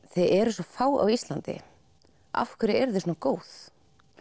þið eruð svo fá á Íslandi af hverju eruð þið svona góð